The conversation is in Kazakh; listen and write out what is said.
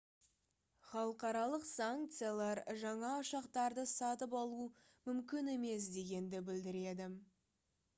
халықаралық санкциялар жаңа ұшақтарды сатып алу мүмкін емес дегенді білдіреді